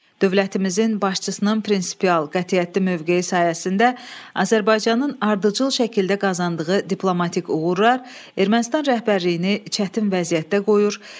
Dövlətimizin başçısının prinsipial qətiyyətli mövqeyi sayəsində Azərbaycanın ardıcıl şəkildə qazandığı diplomatik uğurlar Ermənistan rəhbərliyini çətin vəziyyətdə qoyur.